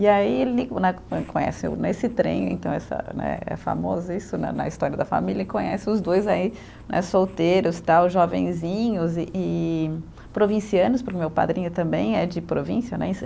E aí ele né conheceu, nesse trem então essa né, é famoso isso né na história da família, e conhece os dois aí né solteiros tal, jovenzinhos e e provincianos, para o meu padrinho também é de província né.